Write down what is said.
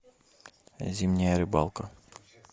зимняя рыбалка